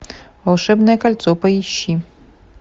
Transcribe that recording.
волшебное кольцо поищи